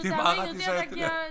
Det meget rigtig sagt det dér